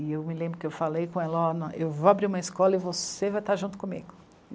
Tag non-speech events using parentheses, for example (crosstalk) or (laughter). E eu me lembro que eu falei com ela, ó, (unintelligible) eu vou abrir uma escola e você vai estar junto comigo.